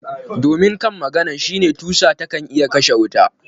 Domin kan maganan shine tusa taken iya kashe wuta.